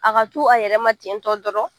A ka to a yɛrɛma ten tɔ dɔrɔn